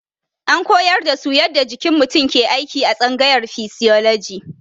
An koyar da su yadda jikin mutum ke aiki a tsangayar fisioloji.